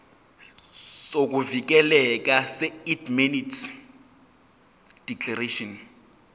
sokuvikeleka seindemnity declaration